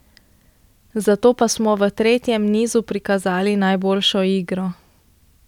Zato pa smo v tretjem nizu prikazali najboljšo igro.